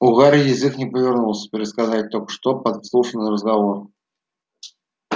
у гарри язык не повернулся пересказать только что подслушанный разговор